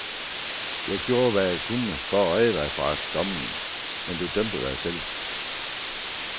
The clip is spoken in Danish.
Jeg gjorde hvad jeg kunne for at redde dig fra dommen, men du dømte dig selv.